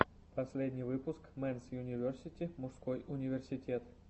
последний выпуск мэнс юниверсити мужской университет